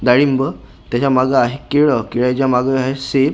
डाळिंबं त्याच्या मागं आहे केळं केळ्याच्या मागं आहे सेब.